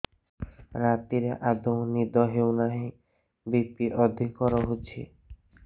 ରାତିରେ ଆଦୌ ନିଦ ହେଉ ନାହିଁ ବି.ପି ଅଧିକ ରହୁଛି